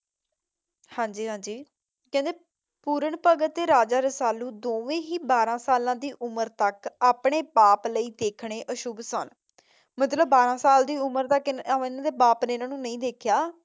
ਹਾਂਜੀ ਹਾਂਜੀ ਕਹਿੰਦੇ ਪੁਰਨ ਭਗਤ ਤੇ ਰਾਜਾ ਰਸਾਲੂ ਦੋਵੇਂ ਹੀ ਬਾਰ੍ਹਾਂ ਸਾਲਾ ਦੀ ਉਮਰ ਤੱਕ ਆਪਣੇ ਬਾਪ ਲਈ ਦੇਖਣੇ ਅਸ਼ੁਭ ਸਨ। ਮਤਲਬ ਬਾਰ੍ਹਾਂ ਸਾਲ ਦੀ ਉਮਰ ਤੱਕ ਇਹਨਾਂ ਦੇ ਬਾਪ ਨੇ ਇਹਨਾਂ ਨੂੰ ਨਹੀਂ ਦੇਖਿਆ